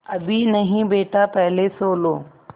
अभी नहीं बेटा पहले सो लो